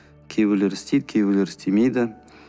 кейбірлері істейді кейбірлері істемейді